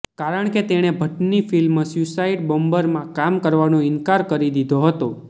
કારણ કે તેણે ભટ્ટની ફિલ્મ સ્યુસાઇડ બોમ્બરમાં કામ કરવાનો ઇનકાર કરી દીધો હતો